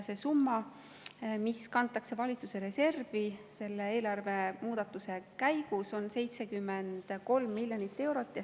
See summa, mis kantakse valitsuse reservi selle eelarvemuudatuse käigus, on 73 miljonit eurot.